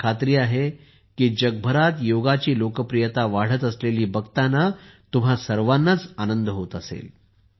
मला खात्री आहे की जगभरात योगाची लोकप्रियता वाढत असलेली बघताना तुम्हा सर्वांनाच आनंद होत असेल